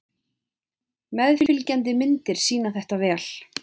Meðfylgjandi myndir sýna þetta vel.